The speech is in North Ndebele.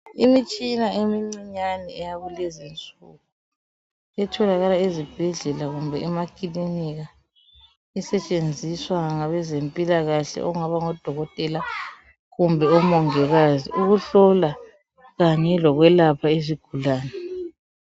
Imitshina emincinyane yakulezinsuku etholakala ezibhedlela kumbe emakilinika esetshenziswa ngabeze mpilakahle okungaba ngodokotela kumbe omongikazi ukuhlola kanye lokwelapha izigulane